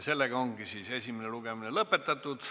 Ja esimene lugemine ongi lõppenud.